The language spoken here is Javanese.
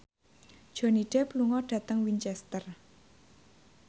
Johnny Depp lunga dhateng Winchester